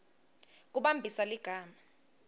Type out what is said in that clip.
kumbambisa ligama